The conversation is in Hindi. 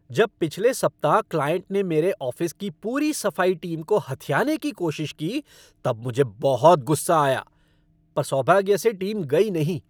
जब पिछले सप्ताह क्लाइंट ने मेरे ऑफ़िस की पूरी सफाई टीम को हथियाने की कोशिश की तब मुझे बहुत गुस्सा आया, पर सौभाग्य से टीम गई नहीं।